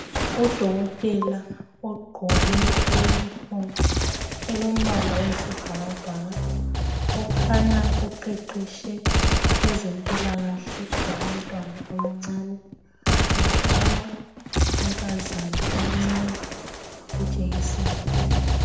Udokotela ogqoke I uniform elombala wesibhakabhaka okhanya uqeqetshe kwezempilakahle yabantwana abancane , uhlaba unkazana omcane ijekiseni